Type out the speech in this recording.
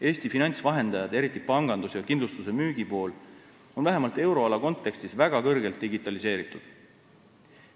Eesti finantsvahendajad, eriti pangandus ja kindlustuse müügi pool on vähemalt euroala kontekstis väga kõrgelt digitaliseeritud.